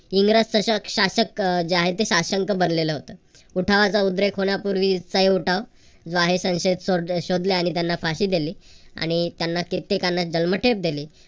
इंग्रज शसक शासक जे आहेत ते साशंक बनलेलं होतं. उठावाचा उद्रेक होण्यापूर्वीचा ही उठाव. जो आहे तो संशयित शोधले आणि त्यांना फाशी दिली आणि त्यांना किती लोकांना जन्मठेप दिली.